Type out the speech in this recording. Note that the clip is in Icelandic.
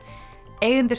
eigendur